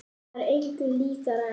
Það var engu líkara en